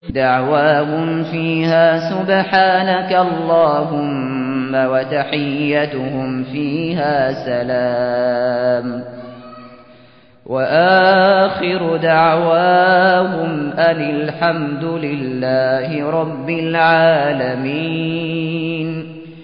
دَعْوَاهُمْ فِيهَا سُبْحَانَكَ اللَّهُمَّ وَتَحِيَّتُهُمْ فِيهَا سَلَامٌ ۚ وَآخِرُ دَعْوَاهُمْ أَنِ الْحَمْدُ لِلَّهِ رَبِّ الْعَالَمِينَ